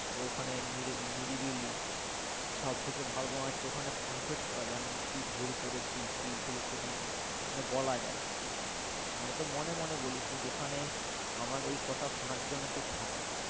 ওখানে নিরিবিলি সব থেকে ভালো তোমার হচ্ছে ওখানে confess করা যায় আমি কি ভুল করেছি কি ভুল করিনি মানে বলা যায় আমরা তো মনে মনে বলি কিন্তু ওখানে আমার এই কথা শোনার জন্য কেও থাকে,